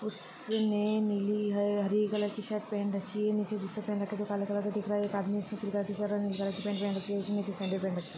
उसने नीले या हरी कलर की शर्ट पहन रखी हैं नीचे जुते पहने रखे है जो काले कलर के दिख रहे है। एक आदम-- ]